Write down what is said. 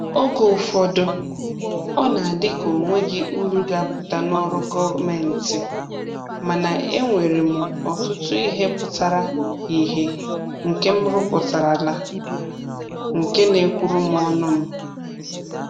Oge ụfọdụ, ọ na-adị ka o nweghị uru ga-apụta n'ọrụ gọọmentị, mana e nwere m ọtụtụ ihe pụtara ihe nke m rụpụtarala nke na-ekwuru m ọnụ m